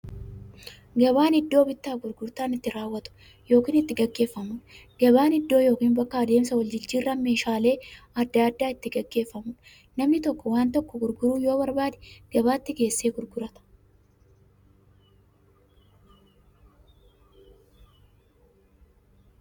Gabaan iddoo bittaaf gurgurtaan itti raawwatu yookiin itti gaggeeffamuudha. Gabaan iddoo yookiin bakka adeemsa waljijjiiraan meeshaalee adda addaa itti gaggeeffamuudha. Namni tokko waan tokko gurguruu yoo barbaade, gabaatti geessee gurgurata.